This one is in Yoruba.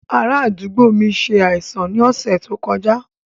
Ará àdúgbò mi ṣe àìsàn ní ọ̀sẹ̀ tó kọjá